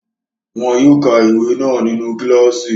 Wọn yóò ka ìwé náà nínu kílààsì